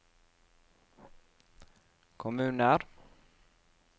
kommuner